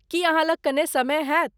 की अहाँ लग कने समय हैत?